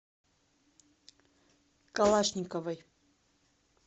калашниковой